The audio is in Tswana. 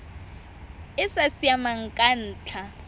e sa siamang ka ntlha